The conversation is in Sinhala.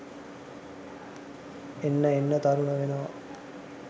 එන්න එන්න තරුණ වෙනවා